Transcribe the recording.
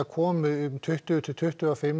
komi auka tuttugu til tuttugu og fimm